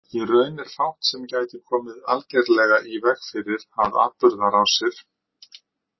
Í raun er fátt sem gæti komið algerlega í veg fyrir að atburðarásir.